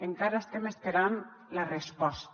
encara estem esperant la resposta